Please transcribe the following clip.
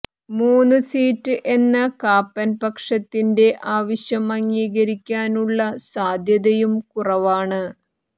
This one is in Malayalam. മൂന്നു സീറ്റ് എന്ന കാപ്പൻ പക്ഷത്തിന്റെ ആവശ്യം അംഗീകരിക്കാനുള്ള സാധ്യതയും കുറവാണ്